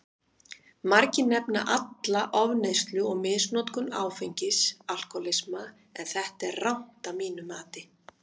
Margir nefna alla ofneyslu og misnotkun áfengis alkohólisma, en þetta er rangt að mínu mati.